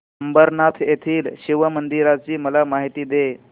अंबरनाथ येथील शिवमंदिराची मला माहिती दे